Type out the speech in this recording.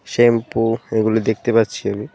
Shampoo এগুলি দেখতে পাচ্ছি আমি.